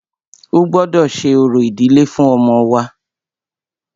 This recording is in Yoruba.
O gbọ́dọ ṣe orò ìdílé fún ọmọ wa!